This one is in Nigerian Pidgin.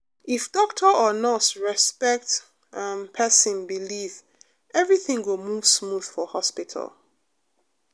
if doctor or nurse respect um person belief everything go move smooth for hospital.